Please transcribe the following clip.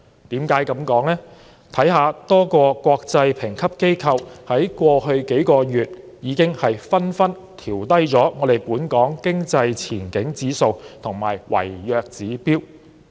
多個國際評級機構在過去數月已紛紛調低本港的經濟前景指數和違約指標。